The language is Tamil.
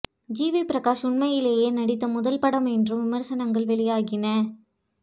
ஜிவி பிரகாஷ் உண்மையிலேயே நடித்த முதல் படம் என்றும் விமர்சனங்கள் வெளியாகின